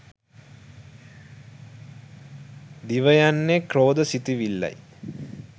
දිවයන්නේ ක්‍රෝධ සිතිවිල්ලයි.